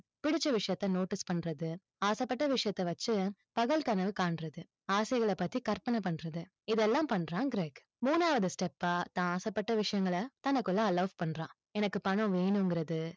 பிடிச்ச விஷயத்த notice பண்றது, ஆசைப்பட்ட விஷயத்தை வச்சு, பகல் கனவு காண்றது, ஆசைகளை பத்தி கற்பனை பண்றது, இதையெல்லாம் பண்றான் கிரேக். மூணாவது step பா, தான் ஆசைப்பட்ட விஷயங்களை, தனக்குள்ள allow பண்றான். எனக்கு பணம் வேணுங்கிறது,